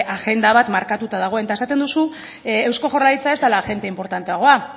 agenda bat markatuta dagoen eta esaten duzu eusko jaurlaritza ez dela agente inportanteagoa